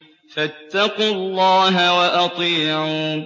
فَاتَّقُوا اللَّهَ وَأَطِيعُونِ